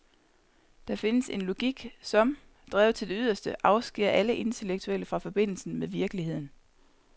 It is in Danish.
Der findes en logik, som, drevet til det yderste, afskærer alle intellektuelle fra forbindelsen med virkeligheden.